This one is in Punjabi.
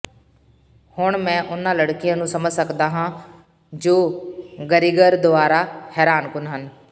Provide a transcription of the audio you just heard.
ਹੁਣ ਮੈਂ ਉਨ੍ਹਾਂ ਲੜਕੀਆਂ ਨੂੰ ਸਮਝ ਸਕਦਾ ਹਾਂ ਜੋ ਗਰਿਗਰ ਦੁਆਰਾ ਹੈਰਾਨਕੁਨ ਹਨ